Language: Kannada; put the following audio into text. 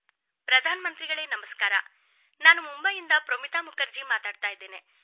ಪ್ರಧಾನ ಮಂತ್ರಿಗಳೇ ನಮಸ್ಕಾರ ನಾನು ಮುಂಬೈಯಿಂದ ಪ್ರೋಮಿತಾ ಮುಖರ್ಜಿ ಮಾತನಾಡುತ್ತಿದ್ದೇನೆ